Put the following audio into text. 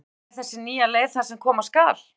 En er þessi nýja leið það sem koma skal?